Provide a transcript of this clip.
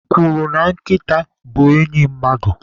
E kwuru na Nkịta bụ enyị mmadụ.